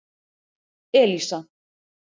Elísa